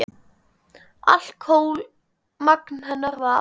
Alkóhól magn hennar var.